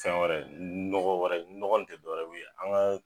San wɛrɛ nɔgɔ wɛrɛ, nɔgɔ ni tɛ dɔwɛrɛw ye an ka.